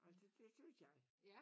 Og det det synes jeg